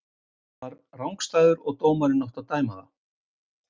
Hann var rangstæður og dómarinn átti að dæma það.